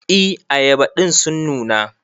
E ayaba din sun nuna.